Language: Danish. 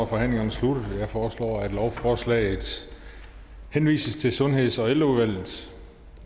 forhandlingen sluttet jeg foreslår at lovforslaget henvises til sundheds og ældreudvalget